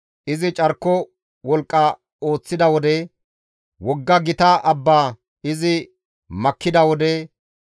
Izi carko wolqqa ooththida wode wogga gita abba izi makkida wode,